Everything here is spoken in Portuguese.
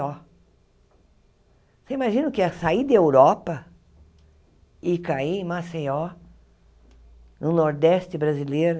Você imagina o que é sair da Europa e cair em Maceió, no nordeste brasileiro,